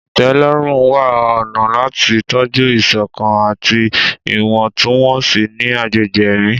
Ìtẹ́lọ́rùn ń wá ọ̀nà láti tọ́jú ìṣọ̀kan àti ìwọ̀ntúnwọ̀nsì ní agbègbè ẹ̀mí.